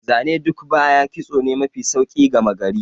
Zane duk baya, kitso ne mai sauƙi gama gari.